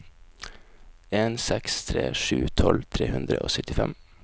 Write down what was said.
en seks tre sju tolv tre hundre og syttifem